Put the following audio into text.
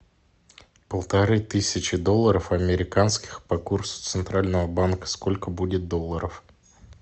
полторы тысячи долларов американских по курсу центрального банка сколько будет долларов